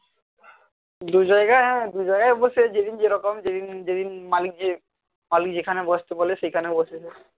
দুজায়গায় হ্যাঁ দুজায়াগায় বসে যেদিন যেরকম যেদিন যেদিন মালিক যে আলী যেখানে বসতে বলে সেখানে বসে সে